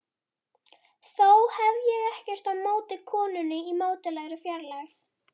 Þó hef ég ekkert á móti konunni í mátulegri fjarlægð.